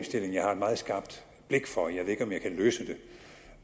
jeg har et meget skarpt blik for jeg ved ikke om jeg kan løse det